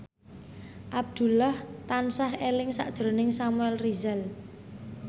Abdullah tansah eling sakjroning Samuel Rizal